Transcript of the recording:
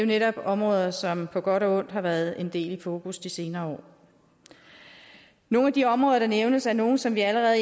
netop områder som på godt og ondt har været en del i fokus de senere år nogle af de områder der nævnes er nogle som vi allerede